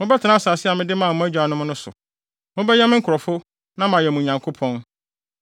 Mobɛtena asase a mede maa mo agyanom no so. Mobɛyɛ me nkurɔfo na mayɛ mo Nyankopɔn.